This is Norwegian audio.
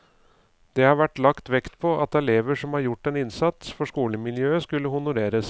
Det har vært lagt vekt på at elever som har gjordt en innsats for skolemiljøet skulle honoreres.